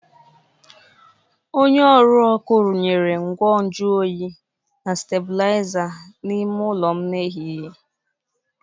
Onye ọrụ ọkụ runyere ngwa nju oyi na stabụlaiza n’ime ụlọ m n’ehihie.